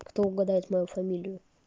кто угадает мою фамилию